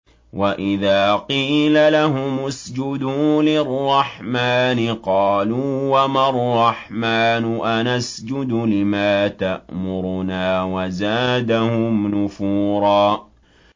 وَإِذَا قِيلَ لَهُمُ اسْجُدُوا لِلرَّحْمَٰنِ قَالُوا وَمَا الرَّحْمَٰنُ أَنَسْجُدُ لِمَا تَأْمُرُنَا وَزَادَهُمْ نُفُورًا ۩